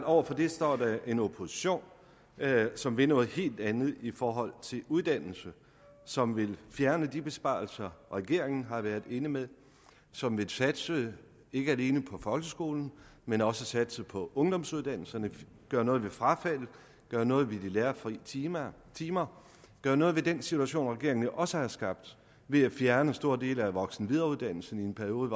over for det står en opposition som vil noget helt andet i forhold til uddannelse som vil fjerne de besparelser regeringen har været inde med som vil satse ikke alene på folkeskolen men også satse på ungdomsuddannelserne gøre noget ved frafaldet gøre noget ved de lærerfri timer timer gøre noget ved den situation regeringen jo også har skabt ved at fjerne store dele af voksen og videreuddannelsen i en periode